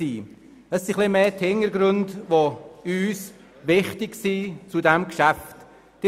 Es sind vielmehr die Hintergründe zu diesem Geschäft, die uns wichtig sind.